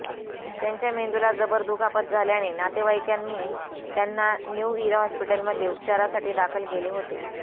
त्यांच्या मेंदूला जबर दुखापत झाल्याने नातेवाईकांनी त्यांना न्यू इरा हॉस्पिटलमध्ये उपचारासाठी दाखल केले होते